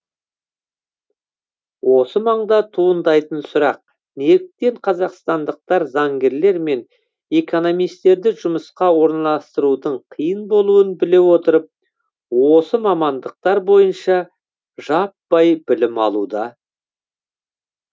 осы маңда туындайтын сұрақ неліктен қазақстандықтар заңгерлер мен экономистерді жұмысқа орналастырудың қиын болуын біле отырып осы мамандықтар бойынша жаппай білім алуда